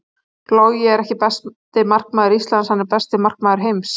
Logi er ekki besti markmaður Íslands, hann er besti markmaður heims.